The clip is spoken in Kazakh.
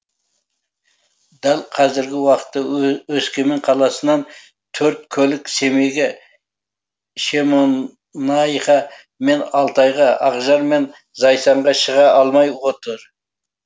дәл қазіргі уақытта өскемен қаласынан төрт көлік семейге шемонаиха мен алтайға ақжар мен зайсанға шыға алмай отыр